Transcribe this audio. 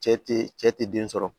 Cɛ te cɛ te den sɔrɔ